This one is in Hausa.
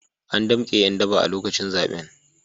An damke ’yan daba a lokacin zaben.